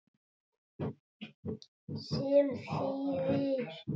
Sem þýðir?